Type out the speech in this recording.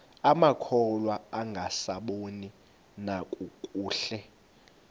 amakhwahla angasaboni nakakuhle